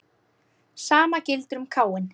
Sama gildir um Káin.